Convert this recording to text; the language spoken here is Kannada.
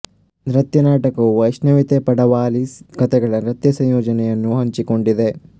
ನೃತ್ಯ ನಾಟಕವು ವೈಷ್ಣವಿತೆ ಪಡವಾಲಿಸ್ ಕಥೆಗಳ ನೃತ್ಯ ಸಂಯೋಜನೆಯನ್ನು ಹಂಚಿಕೊಂಡಿದೆ